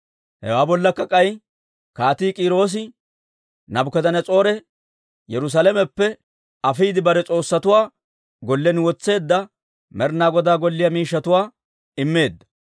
Hewaa bollakka k'ay Kaatii K'iiroosi Naabukadanas'oore Yerusaalameppe afiide bare s'oossatuwaa gollen wotseedda Med'ina Goda Golliyaa miishshatuwaa immeedda.